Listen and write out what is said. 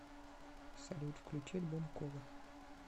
салют включи альбом кола